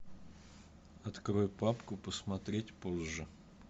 открой папку посмотреть позже